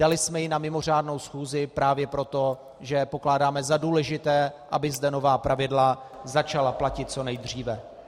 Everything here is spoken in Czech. Dali jsme ji na mimořádnou schůzi právě proto, že pokládáme za důležité, aby zde nová pravidla začala platit co nejdříve.